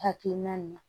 Hakilina min